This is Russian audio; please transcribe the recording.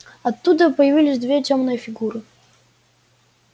оттуда появились две тёмные фигуры